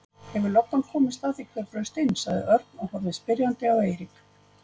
Hefur löggan komist að því hver braust inn? sagði Örn og horfði spyrjandi á Eirík.